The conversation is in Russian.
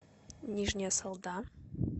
нижняя салда